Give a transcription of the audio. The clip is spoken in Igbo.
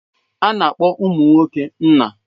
A na-akpọ ụmụ nwoke nna.